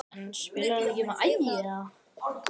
En spilar hann ekki með Ægi?